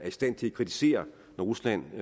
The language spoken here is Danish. i stand til at kritisere rusland